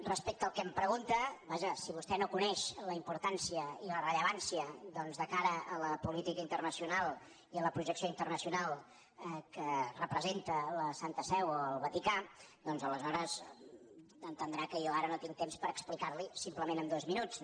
respecte al que em pregunta vaja si vostè no coneix la importància i la rellevància doncs de cara a la política internacional i a la projecció internacional que representa la santa seu o el vaticà doncs aleshores entendrà que jo ara no tinc temps per explicar li ho simplement en dos minuts